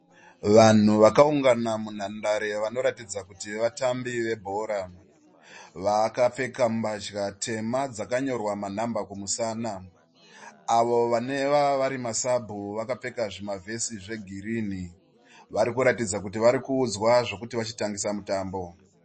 Vanhu vakaungana munhandare vanoratidza kuti vatambi vebhora. Vakapfeka mbatya tema dzakanyorwa manhamba kumusana. Avo vanova vari masabhu vakapfeka zvima vhesi zvegirini, vanoratidza kuti varikuudzwa zvekuti vachitangisa mutambo.